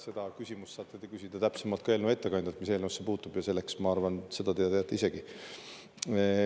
Seda küsimust saate te küsida täpsemalt ka eelnõu ettekandjalt, mis eelnõusse puutub, ja selleks, ma arvan, seda te teate isegi.